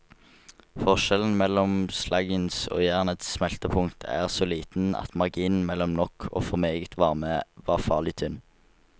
Forskjellen mellom slaggens og jernets smeltepunkt er så liten at marginen mellom nok og for meget varme var farlig tynn.